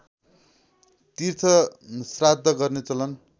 तीर्थश्राद्ध गर्ने चलन